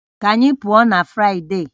Ka anyị pụọ na Fụraịde